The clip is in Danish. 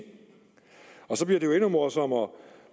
så bliver det jo endnu morsommere